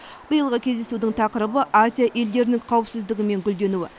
биылғы кездесудің тақырыбы азия елдерінің қауіпсіздігі мен гүлденуі